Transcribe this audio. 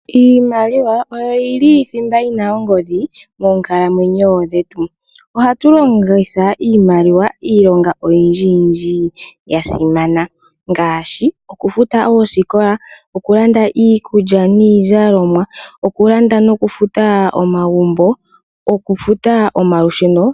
Iimaliwa iyo yili thimba yina ongodhi moonkalamwenyo dhetu. Ohatu longitha iimaliwa miinima iyindji yasimana ngaashi oku futa oosikola, okulanda iikulya niikutu, okulanda omagumbo nokufuta omalusheno.